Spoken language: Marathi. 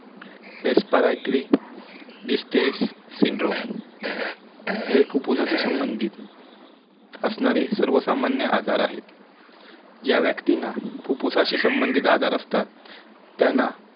separatrixliste syndrome हे फुप्फुसाच्या संबधीत असणारे सर्वसामान्य आजार आहेत ज्या व्यक्तींना फुप्फुसाच्या संबधीत आजार असतात त्याना